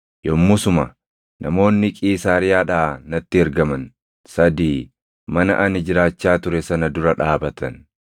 “Yommusuma namoonni Qiisaariyaadhaa natti ergaman sadii mana ani jiraachaa ture sana dura dhaabatan.